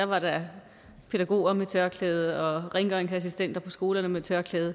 var der pædagoger med tørklæde og rengøringsassistenter på skolerne med tørklæde